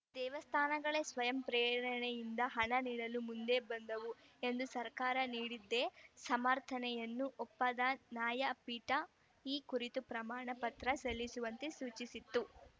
ದೇವಸ್ಥಾನಗಳೇ ಸ್ವಯಂ ಪ್ರೇರಣೆಯಿಂದ ಹಣ ನೀಡಲು ಮುಂದೆ ಬಂದವು ಎಂದು ಸರ್ಕಾರ ನೀಡಿದ್ದೆ ಸಮರ್ಥನೆಯನ್ನು ಒಪ್ಪಂದ ನಾಯಪೀಠ ಈ ಕುರಿತು ಪ್ರಮಾಣ ಪತ್ರ ಸಲ್ಲಿಸುವಂತೆ ಸೂಚಿಸಿತ್ತು